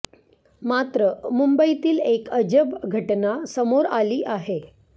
मात्र मुंबईतील एक अजब घटना समोर आली आहे